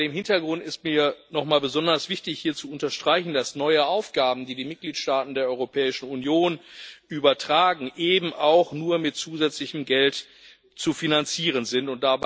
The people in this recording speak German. Vor dem Hintergrund ist mir noch einmal besonders wichtig, hier zu unterstreichen, dass neue Aufgaben, die die Mitgliedstaaten der Europäischen Union übertragen, eben auch nur mit zusätzlichem Geld zu finanzieren sind.